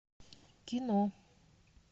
кино